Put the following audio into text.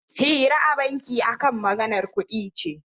Hira a banki akan maganar kuɗi ce